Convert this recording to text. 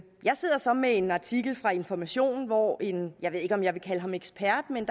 jeg sidder så med en artikel fra information hvor en jeg ved ikke om jeg vil kalde ham ekspert men